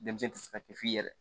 Denmisɛn tɛ se ka pefi yɛrɛ